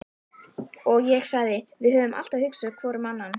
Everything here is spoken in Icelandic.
og ég sagði: Við höfum alltaf hugsað hvor um annan.